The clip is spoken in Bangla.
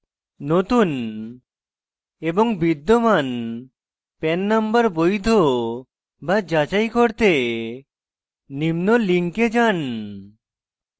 নতুন এবং বিদ্যমান pan নম্বর বৈধ বা যাচাই করতে নিম্ন link যান